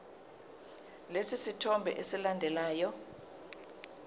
lesi sithombe esilandelayo